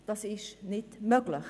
Das ist jedoch nicht möglich.